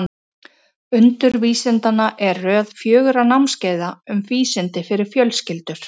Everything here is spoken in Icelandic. Undur vísindanna er röð fjögurra námskeiða um vísindi fyrir fjölskyldur.